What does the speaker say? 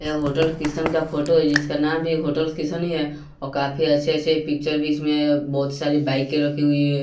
यह होटल किशन का फोटो है। जिसका नाम भी होटल किशन है और काफी अच्छे अच्छे पिक्चर बीच में बहोत सारी बाइके रखी हुई है।